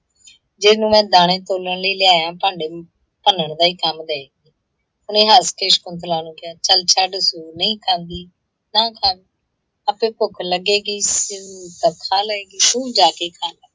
ਜਿਹਨੂੰ ਮੈਂ ਦਾਣੇ ਭੁੰਨਣ ਲਈ ਲਿਆਐਂ ਭਾਂਡੇ ਭੰਨਣ ਦਾ ਹੀ ਕੰਮ ਦਏਗੀ । ਉਹਨੇ ਹੱਸ ਕੇ ਸ਼ਕੁੰਤਲਾ ਨੂੰ ਕਿਹਾ, ਚੱਲ ਛੱਡ ਉਹ ਨਹੀਂ ਖਾਂਦੀ ਨਾ ਖਾਣ, ਆਪੇ ਭੁੱਖ ਲੱਗੇਗੀ ਇਸਨੂੰ ਤਾਂ ਖਾ ਲਏਗੀ, ਤੂੰ ਜਾ ਕੇ ਖਾ ਲੈ।